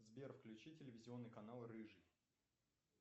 сбер включи телевизионный канал рыжий